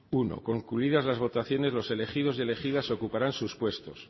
uno concluidas las votaciones los elegidos y elegidas ocuparán sus puestos